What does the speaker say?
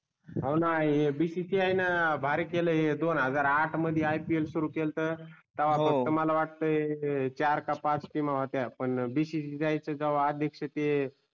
हव णा हे bcci आहे णा भारी केल हे दोन् हजार आठ मध्ये IPL सुरू केलत हो तवहा फक्त मला वाटते चार का पाच team होत्या पण bcci याच्या जेव्हा अध्यक्ष ते